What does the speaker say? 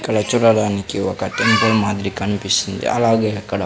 ఇక్కడ చూడడానికి ఒక టెంపుల్ మాదిరి కన్పిస్తుంది అలాగే అక్కడ--